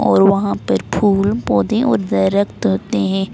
और वहां पर फूल पोधे और दरख्त होते है।